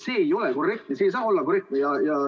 See ei ole korrektne, see ei saa olla korrektne.